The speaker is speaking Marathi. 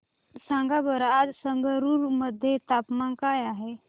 सांगा बरं आज संगरुर मध्ये तापमान काय आहे